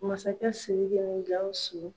Masakɛ Siriki ni Gawusu